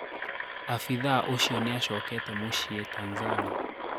Afithaũcĩo nĩashokete mũcĩe Tanzania